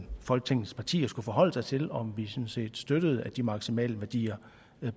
folketingets partier skulle forholde sig til om vi sådan set støttede at de maksimale værdier